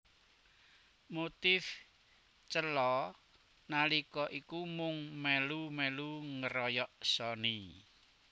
Motif Cella nalika iku mung melu melu ngeroyok Sony